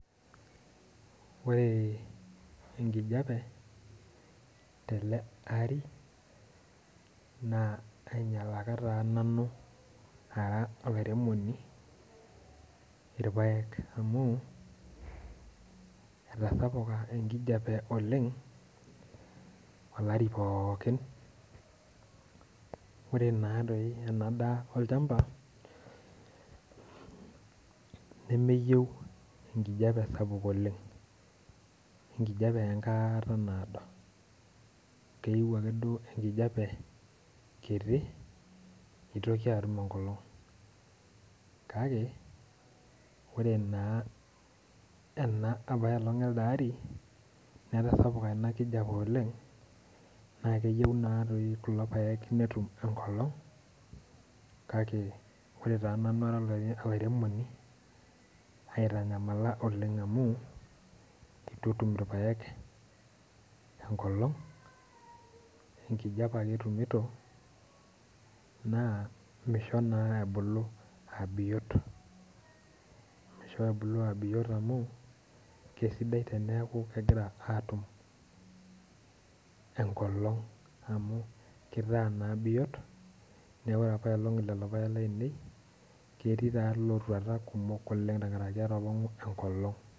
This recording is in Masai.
Ore enkijape telida apa ari naa ainyalaki nanu ara olairemoni irpaek, amu eitasapuk enkijape oleng' olari pookin ore naadi ena daa olchamba nemeyieu enkijepe sapuk oleng' ,enkijape enkata naado keyieu ake ankijape kiti nitoki atum enkolong'.kake ore naa ena apa elong' elde ari, netasapuka ina kijape oleng' naa keyieu naa kulo paek netum enkolong' .kake ore taa nanu ara olairemoni naitanyamala oleng' amu eitu etum irpaek enkolong' ,enkijape ake entumito naa misho naa ebulu aa biot. Misho ebulu aa biot amu kegira naa atum enkolong' amu kitaa naa biot neeku ore apa elong' lelo paek lainei ketii ikumok lootuata tenkaraki etapong'o enkolong'.